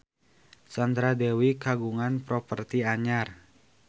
Sandra Dewi kagungan properti anyar